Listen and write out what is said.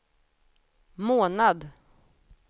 månad